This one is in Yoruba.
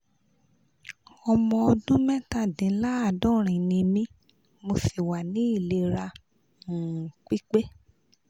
ọmọ ọdún mẹ́tàdínláàádọ́rin ni mí mo sì wà ní ìlera um pípé